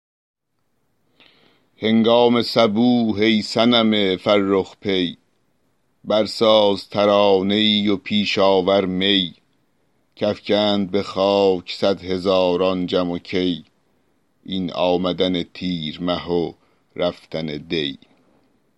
هنگام صبوح ای صنم فرخ پی برساز ترانه ای و پیش آور می کافکند به خاک صدهزاران جم و کی این آمدن تیر مه و رفتن دی